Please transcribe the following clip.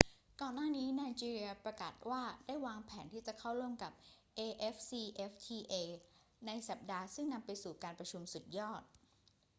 ก่อนหน้านี้ไนจีเรียประกาศว่าได้วางแผนที่จะเข้าร่วมกับ afcfta ในสัปดาห์ซึ่งนำไปสู่การประชุมสุดยอด